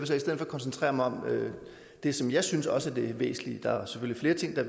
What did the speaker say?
så i stedet for koncentrere mig om det som jeg synes også er det væsentlige der er selvfølgelig flere ting der